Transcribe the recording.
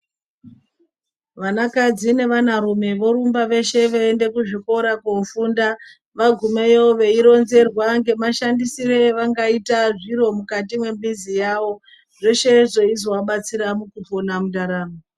Vanakadzi nevanarume vorumba vashe veienda kuzvikora kundofunda vagumayo veironzerwa ngeshandisire avangazoita zviro mukati memuzi zveshe izvozvo zveizo vabetsera mundaramo yavo.